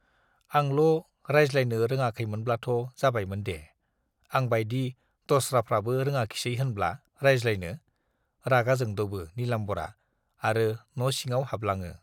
आंल' रायज्लायनो रोङाखैमोनब्लाथ' जाबायमोन दे - आं बाइदि दस्राफ्राबो रोङाखिसै होनब्ला रायज्लायनो? रागा जोंद'बो नीलाम्बरआ आरो न' सिङाव हाबलाङो।